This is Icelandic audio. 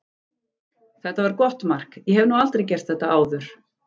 Þetta var gott mark, ég hef nú aldrei gert þetta áður.